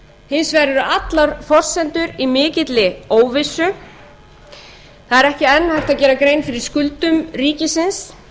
hins vegar eru allar forsendur í mikilli óvissu það er ekki enn hægt að gera grein fyrir skuldum ríkisins